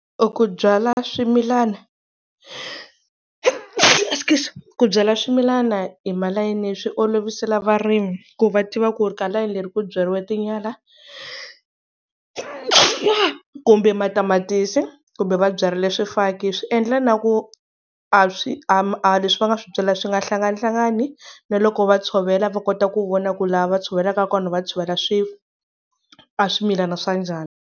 Ku byala swimilana askies ku byala swimilana hi malayeni swi olovisela varimi ku va tiva ku ri ka layeni leri ku byariwa tinyala, kumbe matamatisi kumbe va byarile swifaki swiendla na ku a leswi va nga swi byala swi nga hlanganihlangani na loko va tshovela va kota ku vona ku laha va tshovelaka kona va tshovela a swimilana swa njhani.